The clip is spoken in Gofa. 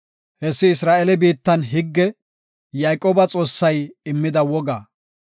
Hessi Isra7eele biittan higge; Yayqooba Xoossay immida woga.